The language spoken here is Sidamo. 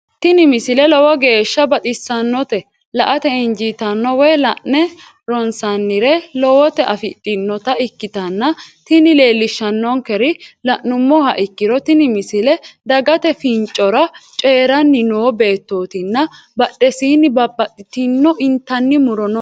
tini misile lowo geeshsha baxissannote la"ate injiitanno woy la'ne ronsannire lowote afidhinota ikkitanna tini leellishshannonkeri la'nummoha ikkiro tini misile dagate fincora coyiiranni noo beettootinna badhesiinni babbaxxino intanni muro no.